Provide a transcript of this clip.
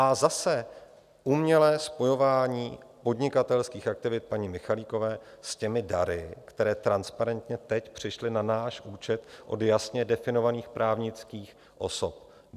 A zase, umělé spojování podnikatelských aktivit paní Michalikové s těmi dary, které transparentně teď přišly na náš účet od jasně definovaných právnických osob.